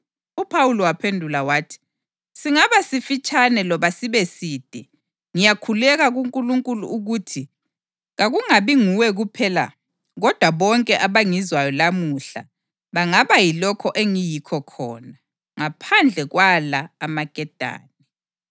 UPhawuli waphendula wathi, “Singaba sisifitshane loba sibeside, ngiyakhuleka kuNkulunkulu ukuthi kakungabi nguwe kuphela kodwa bonke abangizwayo lamuhla bangaba yilokho engiyikho khona, ngaphandle kwala amaketane.”